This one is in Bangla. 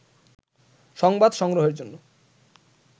সংবাদ সংগ্রহের জন্য